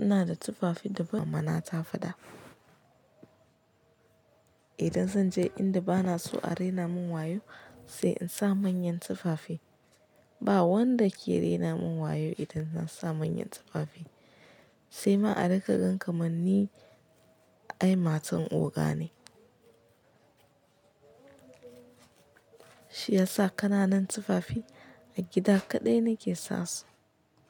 ina da tufafi daban mama na ta faɗa. Idan zan je inda bana so a raina mun wayo sai in sa manyan tufafi. Ba wanda ke raina mun wayo idan zan sa manyan tufafi. Sai ma a riƙa gan ka manni ai matan oga ne. Shi yasa ƙananan tufafi a gida kaɗai nake sa su.